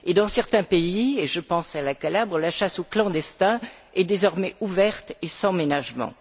Et, dans certains pays je pense à la Calabre la chasse aux clandestins est désormais ouverte et sans ménagement.